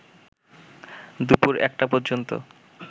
দুপুর একটা পর্যন্ত